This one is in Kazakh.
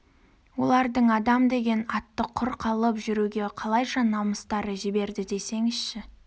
олардың адам деген атты құр алып жүруге қалайша намыстары жібереді десеңізші